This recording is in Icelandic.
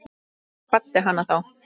Ég kvaddi hana þá.